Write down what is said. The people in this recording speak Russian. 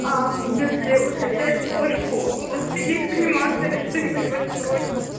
если усыплять кошку у вас есть кремация или что-нибудь в этом роде